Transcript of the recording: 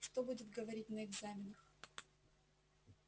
что будет говорить на экзаменах